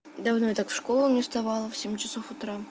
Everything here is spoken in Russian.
давно я так в школу не вставала в семь часов утра